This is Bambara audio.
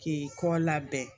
K'i kɔ labɛn